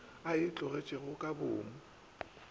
a e tlogetšego ka boomo